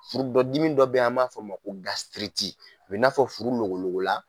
Furu dɔ dimi dɔ bɛ ye an b'a fɔ o ma ko gasitiriti u bɛ i n'a fɔ furu logologo la.